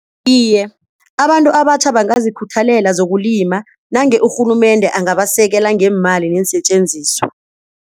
Iye, abantu abatjha bangazikhuthalela zokulima nange urhulumende angabasekela ngeemali neensetjenziswa.